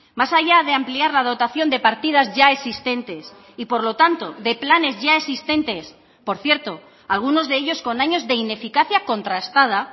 más allá de ampliar la dotación de partidas ya existentes y por lo tanto de planes ya existentes por cierto algunos de ellos con años de ineficacia contrastada